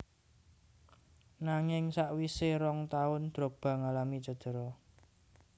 Nanging sakwisè rong taun Drogba ngalami cedera